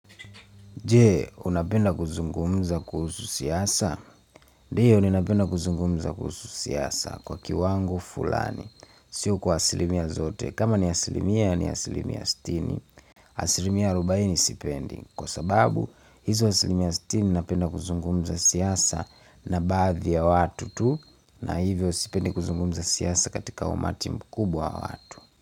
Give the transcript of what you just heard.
Je, unapenda kuzungumza kuhusu siasa? Ndio, ninapenda kuzungumza kuhusu siasa kwa kiwango fulani. Sio kwa asilimia zote. Kama ni asilimia, ni asilimia sitini. Asilimia arubaini sipendi. Kwa sababu, hizo asilimia sitini napenda kuzungumza siasa na badhi ya watu tu. Na hivyo sipendi kuzungumza siasa katika umati mkubwa wa watu.